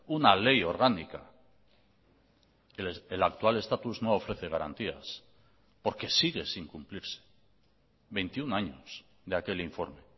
una ley orgánica el actual estatus no ofrece garantías porque sigue sin cumplirse veintiuno años de aquel informe